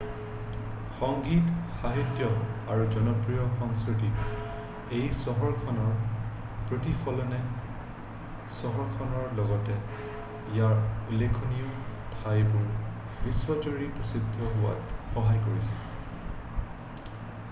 সংগীত সাহিত্য আৰু জনপ্ৰিয় সংস্কৃতিত এই চহৰখনৰ প্ৰতিফলনে চহৰখনৰ লগতে ইয়াৰ উল্লেখনীয় ঠাইবোৰ বিশ্বজুৰি প্ৰসিদ্ধ হোৱাত সহায় কৰিছে